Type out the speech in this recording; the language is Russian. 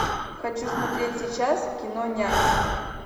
хочу смотреть сейчас кино нянь